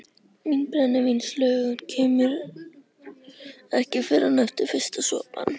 Mín brennivínslöngun kemur ekki fyrr en eftir fyrsta sopann.